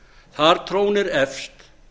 þar trónir efst